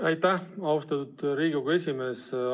Aitäh, austatud Riigikogu esimees!